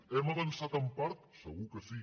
hem avançat en part segur que sí